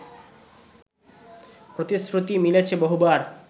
প্রতিশ্রুতি মিলেছে বহুবার